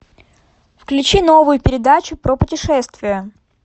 включи новую передачу про путешествия